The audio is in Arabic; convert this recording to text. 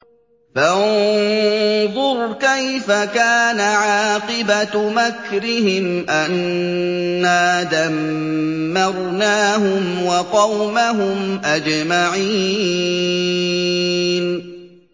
فَانظُرْ كَيْفَ كَانَ عَاقِبَةُ مَكْرِهِمْ أَنَّا دَمَّرْنَاهُمْ وَقَوْمَهُمْ أَجْمَعِينَ